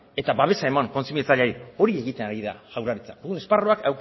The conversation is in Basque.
eta babesa eman kontsumitzaileari hori egiten ari da jaurlaritza esparruak